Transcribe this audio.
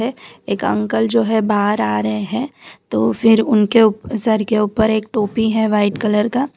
एक अंकल जो है बाहर आ रहे हैं तो फिर उनके ऊ सर के ऊपर एक टोपी है व्हाइट कलर का।